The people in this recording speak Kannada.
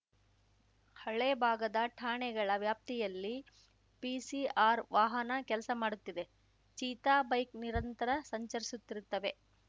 ಹಳೆ ಭಾಗದ ಠಾಣೆಗಳ ವ್ಯಾಪ್ತಿಯಲ್ಲಿ ಪಿಸಿಆರ್‌ ವಾಹನ ಕೆಲ್ಸ ಮಾಡುತ್ತಿದೆ ಚೀತಾ ಬೈಕ್‌ ನಿರಂತರ ಸಂಚರಿಸುತ್ತಿರುತ್ತವೆ